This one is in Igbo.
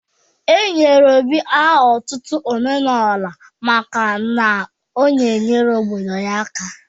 E nyere Obi aha otutu 'Omeluora maka na ọ na-enyere obodo ya aka.